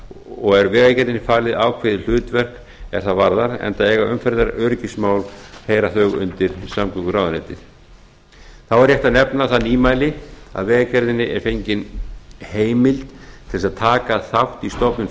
og er vegagerðinni falið ákveðið hlutverk er það varðar enda heyra umhverfisöryggismál undir samgönguráðuneytið þá er rétt að nefna það nýmæli að vegagerðinni er fengin heimild til að taka þátt í stofnun